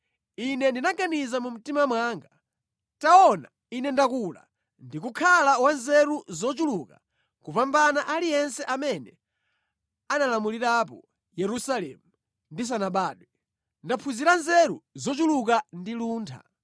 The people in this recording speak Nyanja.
Ine ndinaganiza mu mtima mwanga, “Taona, ine ndakula ndi kukhala wa nzeru zochuluka kupambana aliyense amene analamulirapo Yerusalemu ndisanabadwe; ndaphunzira nzeru zochuluka ndi luntha.”